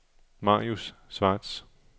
Marius Schwartz